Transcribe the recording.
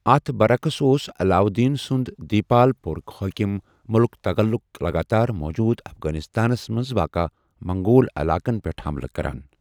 اتھ برعقس اوس علاؤالدینٕ سٗند دیپالپورٕٗک حٲكِم مٔلِک تٗغلٗك لگاتار موُجوُدٕ افغانستانس منٛز واقہٕ منگول علاقن پٮ۪ٹھ حملہٕ كران ۔